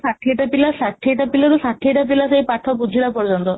ସାଠିଏ ଟା ପିଲା ସାଠିଏ ପିଲାରୁ ସାଠିଏ ଟା ପିଲା ଯାଏ ପାଠ ବୁଝିଲା ପର୍ଯ୍ୟନ୍ତ